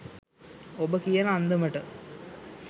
ඔබ කියන අන්දමට